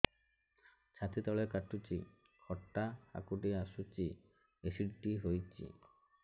ଛାତି ତଳେ କାଟୁଚି ଖଟା ହାକୁଟି ଆସୁଚି ଏସିଡିଟି ହେଇଚି